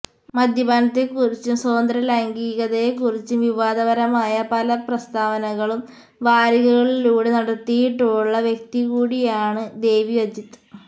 മദ്യപാനത്തെക്കുറിച്ചും സ്വതന്ത്ര ലൈംഗീകതയെക്കുറിച്ചും വിവാദപരമായ പല പ്രസ്താവനകളും വാരികകളിലൂടെ നടത്തയിട്ടുള്ള വ്യക്തികൂടെയാണ് ദേവി അജിത്ത്